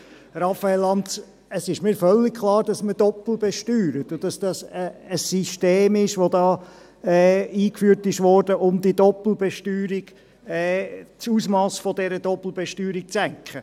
Raphael Lanz, mir ist völlig klar, dass man doppelt besteuert und dass hier ein System eingeführt wurde, um das Ausmass dieser Doppelbesteuerung zu senken.